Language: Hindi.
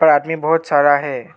और आदमी बहोत सारा है।